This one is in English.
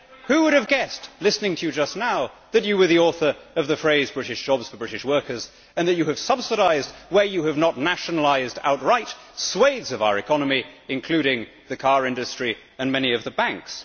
Who would have guessed listening to you just now that you were the author of the phrase British jobs for British workers', and that you have subsidised where you have not nationalised outright swathes of our economy, including the car industry and many of the banks?